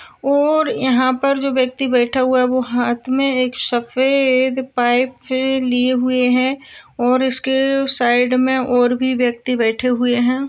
और यहा पर जो व्यक्ति बैठा हुआ है वो हात में एक सफेद पाइप लिए हुए है और इसके साइड और भी व्यक्ति बैठे हुए है।